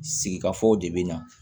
Sigikafɔw de bɛ na